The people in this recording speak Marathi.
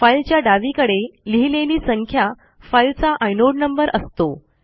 फाईलच्या डावीकडे लिहिलेली संख्या फाईलचा आयनोड नंबर असतो